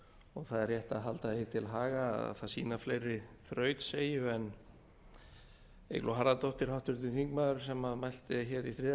og það er rétt að halda því til haga að það sýna fleiri þrautseigju en eygló harðardóttir háttvirtur þingmaður sem mælti hér í þriðja